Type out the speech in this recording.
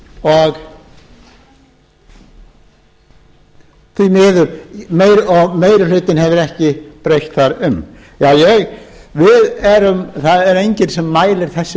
meðan þeir voru þar og meiri hlutinn hefur ekki breytt þar um það er enginn sem mælir þessum